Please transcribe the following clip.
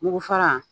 Nugu fara